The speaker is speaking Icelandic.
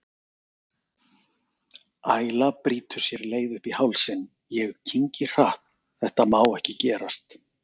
Æla brýtur sér leið upp í hálsinn, ég kyngi hratt, þetta má ekki gerast.